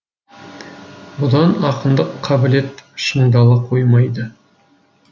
бұдан ақындық қабілет шыңдала қоймайды